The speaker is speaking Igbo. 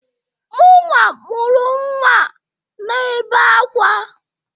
Mụnwa mụrụ nnwa na-ebe akwa.